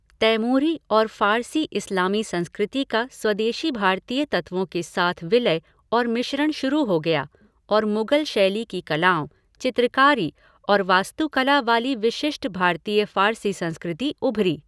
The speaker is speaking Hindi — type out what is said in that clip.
तैमूरी और फ़ारसी इस्लामी संस्कृति का स्वदेशी भारतीय तत्वों के साथ विलय और मिश्रण शुरू हो गया, और मुगल शैली की कलाओं, चित्रकारी और वास्तुकला वाली विशिष्ट भारतीय फ़ारसी संस्कृति उभरी।